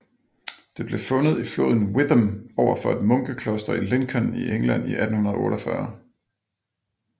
Det blev fundet i floden Witham overfor et munkkloster i Lincoln i England i 1848